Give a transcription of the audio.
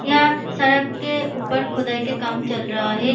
इहा सड़क के ऊपर खोदाई के काम चल रहा है।